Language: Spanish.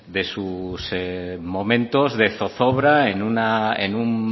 sus momentos de zozobra en un